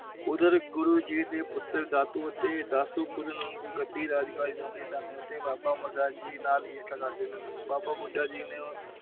ਓਹਨਾ ਨੇ ਗੁਰੂ ਜੀ ਦੇ ਪੁੱਤਰ ਦਾ ਅਤੇ ਬਾਬਾ ਅਮਰ ਦਾਸ ਜੀ ਨਾਲ ਈਰਖਾ ਕਰਦੇ ਸਨ। ਬਾਬਾ ਬੁਢਾ ਜੀ ਨੇ